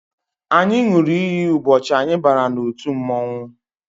Anyị ṅụrụ iyi ụbọchị anyị bara n'otu mmọnwụ